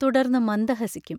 തുടർന്നു മന്ദഹസിക്കും.